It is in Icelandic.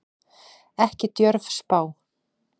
Ekki djörf spá.